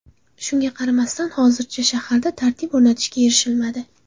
Shunga qaramasdan, hozircha shaharda tartib o‘rnatishga erishilmadi.